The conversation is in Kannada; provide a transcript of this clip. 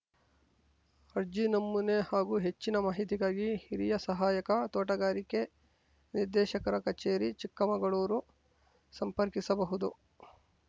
ಅರ್ಜಿ ನಮೂನೆ ಹಾಗೂ ಹೆಚ್ಚಿನ ಮಾಹಿತಿಗಾಗಿ ಹಿರಿಯ ಸಹಾಯಕ ತೊಟಗಾರಿಕೆ ನಿರ್ದೇಶಕರ ಕಚೇರಿ ಚಿಕ್ಕಮಗಳೂರು ಸಂಪರ್ಕಿಸಬಹುದು